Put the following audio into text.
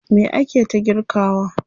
Me ake ta girkawa?